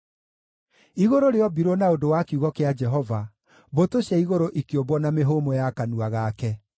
Igũrũ rĩombirwo na ũndũ wa kiugo kĩa Jehova, mbũtũ cia igũrũ ikĩũmbwo na mĩhũmũ ya kanua gake.